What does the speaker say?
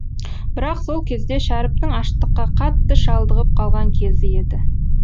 бірақ сол кезде шәріптің аштыққа қатты шалдығып қалған кезі еді